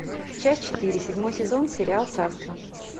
часть четыре седьмой сезон сериал царство